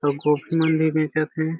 अउ गोभी मन भी बेचत हे।